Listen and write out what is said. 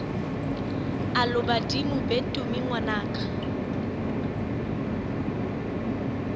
alo badimo be tumi ngwanaka